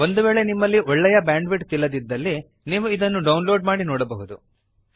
ಒಂದು ವೇಳೆ ನಿಮ್ಮಲ್ಲಿ ಒಳ್ಳೆಯ ಬ್ಯಾಂಡ್ ವಿಡ್ತ್ ಇಲ್ಲದಿದ್ದಲ್ಲಿ ನೀವು ಡೌನ್ ಲೋಡ್ ಮಾಡಿ ನೋಡಬಹುದು